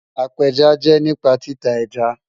Apéjá jẹ́ nípa títa ẹ́já.